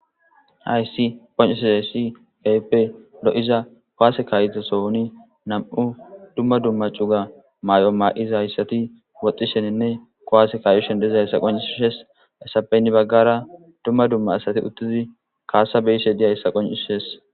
hayssi qonccsiayssi gayppe lo7iza kowase kaayide sowoni nam7u dumma dumma cuga maay7o maa7iza hayssati woxxisheninne kowaase kaayushen dezayssa qoncusshes essapeynni baggara dumma dumma asati uttidi kaasa beyse diyayssa qoncishes